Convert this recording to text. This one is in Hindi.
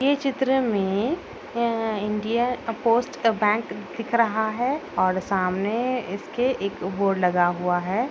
ये चित्र में अ इंडिया पोस्ट बैंक दिख रहा है और सामने इसके एक बोर्ड लगा हुआ है।